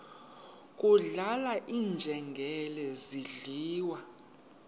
kudlala iinjengele zidliwa